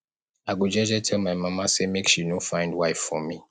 i go jeje tell my mama sey make she no find wife for me